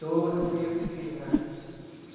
Tudo fui eu que fiz lá.